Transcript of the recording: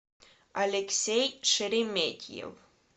алексей шереметьев